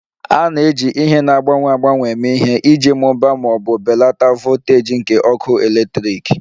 A na-eji ihe na-agbanwe agbanwe eme ihe iji mụbaa ma ọ bụ belata voltaji nke ọkụ eletrik